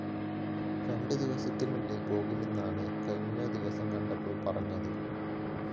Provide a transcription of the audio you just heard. രണ്ടുദിവസത്തിനുള്ളില്‍ പോകുമെന്നാണ്‌ കഴിഞ്ഞ ദിവസം കണ്ടപ്പോള്‍ പറഞ്ഞത്‌